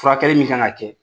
Furakɛli min kan ka kɛ